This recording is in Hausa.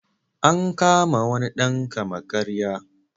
An kama wani dan kama-karya.